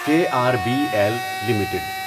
کے R B L limited